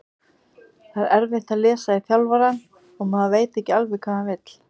Það er erfitt að lesa í þjálfarann og maður veit ekki alveg hvað hann vill.